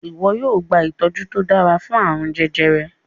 iwọ yóò gba itọju to dára fún arun jẹjẹrẹ yí.